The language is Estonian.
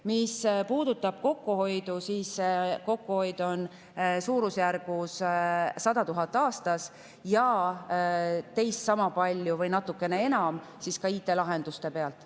Mis puudutab kokkuhoidu, siis kokkuhoid on suurusjärgus 100 000 aastas ja teist sama palju või natukene enam ka IT‑lahenduste pealt.